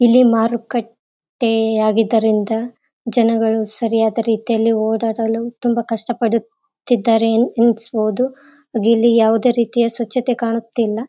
ಇಲ್ಲಿ ಮಾರುಕಟ್ಟೆ ಆಗಿದ್ದರಿಂದ ಜನಗಳು ಸರಿಯಾದ ರೀತಿಯಲ್ಲಿ ಓಡಾಡಲು ತುಂಬ ಕಷ್ಟಪಡುತ್ತಿದ್ದಾರೆ ಎನ್ಸ್‌ಬಹುದು ಇಲ್ಲಿ ಯಾವುದೇ ರೀತಿಯ ಸ್ವಚ್ಛತೆ ಕಾಣುತ್ತಿಲ್ಲ.